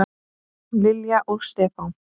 Lilja og Stefán.